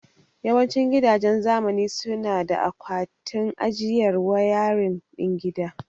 Yawancin gidajen zamani suna da akwatin ajiyar wayarin din gida.